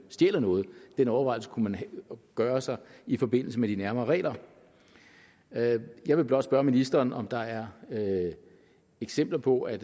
stjæler noget den overvejelse kunne man gøre sig i forbindelse med de nærmere regler jeg vil blot spørge ministeren om der er eksempler på at